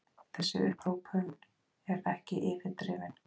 Þessi upphrópun er ekki yfirdrifin.